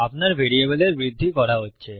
আপনার ভ্যারিয়েবলের বৃদ্ধি করা হচ্ছে